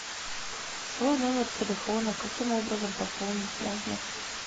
свой номер телефона каким образом пополнить можно